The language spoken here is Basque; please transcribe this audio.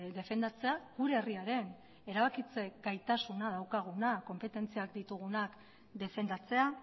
defendatzea gure herriaren erabakitze gaitasuna daukaguna konpetentzia ditugunak defendatzea